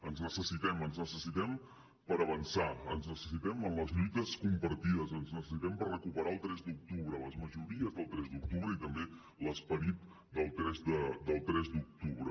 ens necessitem ens necessitem per avançar ens necessitem en les lluites compartides ens necessitem per recuperar el tres d’octubre les majories del tres d’octubre i també l’esperit del tres d’octubre